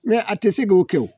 Mɛ a tɛ se k'o kɛ o